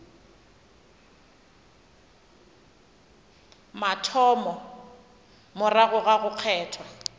mathomo morago ga go kgethwa